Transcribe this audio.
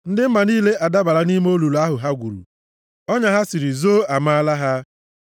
Ndị mba niile adabala nʼime olulu ahụ ha gwuru; ọnya ahụ ha siri, zoo, amaala ha.